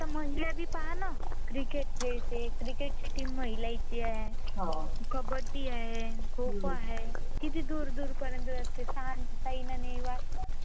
आता महाली आजी पहा ना. आता महाली आजी पहा ना क्रिकेट क्रिकेटची टीम महिलाची आहे, कबड्डी आहे. खूप आहे, किती दूर दूर पर्यंत असते साइना नेहवाल पण